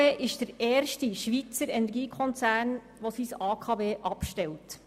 Die BKW ist der erste Schweizer Energiekonzern, der sein AKW abstellt.